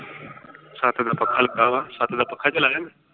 ਛੱਤ ਦਾ ਪੱਖਾ ਲੱਗਾ ਵਾ, ਛੱਤ ਦਾ ਪੱਖਾ ਚਲਾਇਆ ਮੈਂ।